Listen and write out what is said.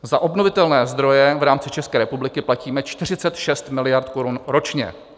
Za obnovitelné zdroje v rámci České republiky platíme 46 miliard korun ročně.